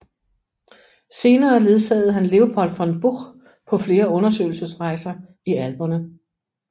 Senere ledsagede han Leopold von Buch på flere undersøgelsesrejser i Alperne